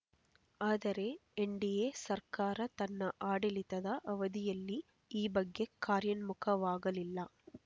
ಆದರೆ ಎನ್‌ಡಿಎ ಸರ್ಕಾರ ತನ್ನ ಆಡಳಿತದ ಅವಧಿಯಲ್ಲಿ ಈ ಬಗ್ಗೆ ಕಾರ್ಯನ್ಮುಖ ವಾಗಲಿಲ್ಲ